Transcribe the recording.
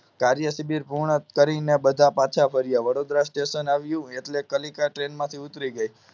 કાર્યશિબિર પૂર્ણ કરી બધા પાછા ફર્યા સ્ટેશન આવ્યું એટલે કાલિકા ટ્રેન માંથી ઉતરી ગઈ